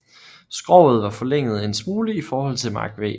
Skroget var forlænget en smule i forhold til Mark V